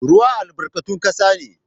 Ruwa albarkatun kasa ne.